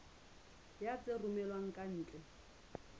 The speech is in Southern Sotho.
ya tse romellwang ka ntle